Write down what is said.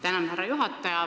Tänan, härra juhataja!